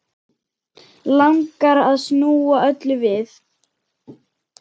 Langar að snúa öllu við.